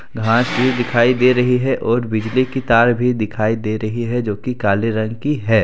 घास भी दिखाई दे रही है और बिजली की तार भी दिखाई दे रही है जो कि काले रंग की है।